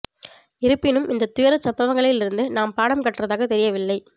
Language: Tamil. இருப்பினும் இந்த துயரச் சம்பவங்களில் இருந்து நாம் பாடம் கற்றதாக தெரியவில்லை